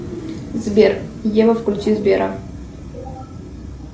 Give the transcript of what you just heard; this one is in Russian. сбер ева включи сбера